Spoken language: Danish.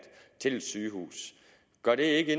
til et sygehus gør det ikke